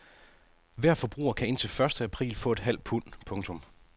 Hver forbruger kan indtil første april få et halvt pund. punktum